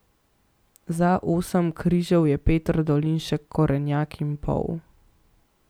Za osem križev je Peter Dolinšek korenjak in pol.